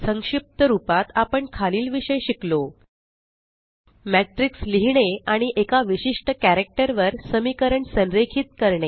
संक्षिप्त रूपात आपण खालील विषय शिकलो मॅट्रिक्स लिहीणे आणि एका विशिष्ट कॅरक्टर वर समीकरण संरेखित करणे